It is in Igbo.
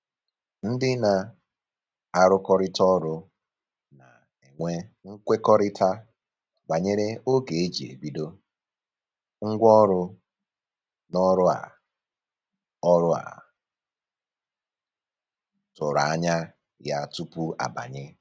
Ndị na-arụkọrịta ọrụ na-enwe mkwekọrịta banyere oge e ji ebido, ngwa ọrụ na ọrụ a ọrụ a tụrụ anya ya tupu a banye